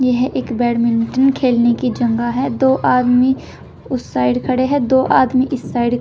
यह एक बैडमिंटन खेलने की जगह है दो आदमी उस साइड खड़े है दो आदमी इस साइड ।